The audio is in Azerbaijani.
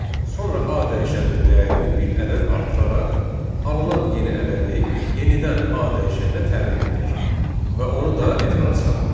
sonra A dəyişəninin dəyərini bir ədəd artıraraq, alınan yeni ədədi yenidən A dəyişəninə təyin etdik və onu da ekrana çıxartdıq.